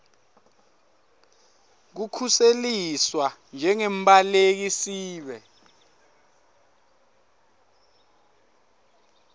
kukhuseliswa njengembaleki sibe